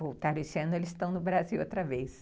Voltaram esse ano, eles estão no Brasil outra vez.